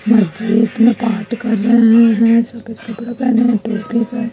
मस्जिद में बात कर रहे हैं सफेद कपड़ा पहने टोपी का--